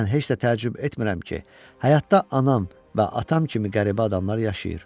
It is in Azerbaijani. Mən heç də təəccüb etmirəm ki, həyatda anam və atam kimi qəribə adamlar yaşayır.